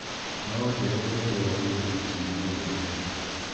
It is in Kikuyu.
No ũnjĩĩre ũrĩa rĩera rĩgũthiĩ kiumia gĩkĩ